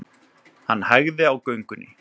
Hann hægði á göngunni.